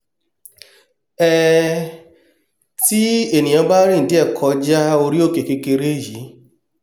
um tí ènìà bá rìn díẹ̀ kọjá orí òkè kékeré yìí